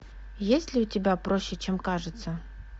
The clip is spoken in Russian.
есть ли у тебя проще чем кажется